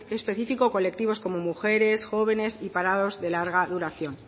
específico colectivo como mujeres jóvenes y parados de larga duración